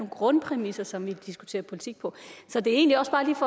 grundpræmisser som vi diskuterer politik på så det er egentlig